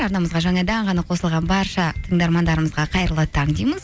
арнамызға жаңадан ғана қосылған барша тыңдармандарымызға қайырлы таң дейміз